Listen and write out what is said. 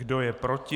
Kdo je proti?